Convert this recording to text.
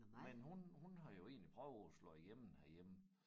Men hun hun har jo egentlig prøvet at slå igennem herhjemme